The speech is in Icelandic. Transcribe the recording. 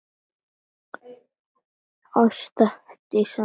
Ásta Herdís Hall.